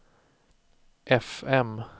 fm